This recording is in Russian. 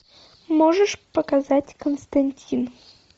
можешь показать константин